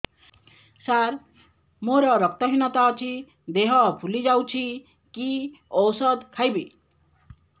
ସାର ମୋର ରକ୍ତ ହିନତା ଅଛି ଦେହ ଫୁଲି ଯାଉଛି କି ଓଷଦ ଖାଇବି